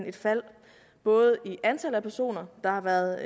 et fald både i antallet af personer der har været